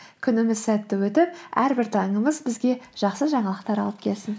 күніміз сәтті өтіп әрбір таңымыз бізге жақсы жаңалықтар алып келсін